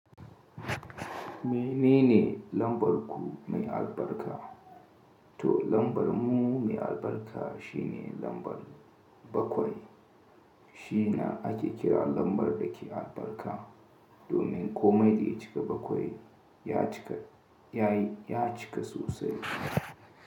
Menene lambar ku mai albarka? To lambar mu mai albarka shine lambar bakwai. Shi na ake kira lambar da ke albarka domin kome da ya cika bakwai, ya cika, ya yi ya cika sosai.